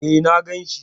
E, na gan shi.